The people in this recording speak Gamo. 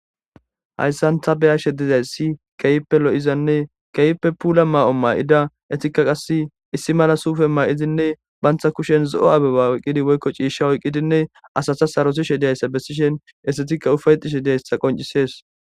hayssan ta beyashe dizaysi keyppe lo7izanne keype puula maa7o maa7ida etikka qass issi mala suufe maa7izinne bantha kushen zo7o abeba woyqqidi woykko ciishsha oyqqidinne asata sarosishe diyayssa bessishen estetikka ufayxishe diyayssa qoncisees